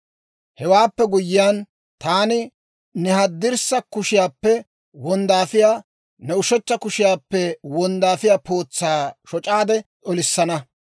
Hewaappe guyyiyaan, taani ne haddirssa kushiyaappe wonddaafiyaa, ne ushechcha kushiyaappe wonddaafiyaa pootsaa shoc'aade olissana.